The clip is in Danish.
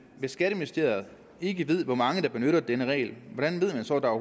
hvis skatteministeriet ikke ved hvor mange der benytter denne regel hvordan ved man så at der